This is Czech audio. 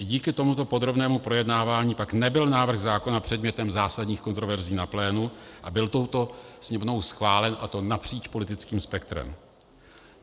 I díky tomuto podrobnému projednávání pak nebyl návrh zákona předmětem zásadních kontroverzí na plénu a byl touto Sněmovnou schválen, a to napříč politickým spektrem.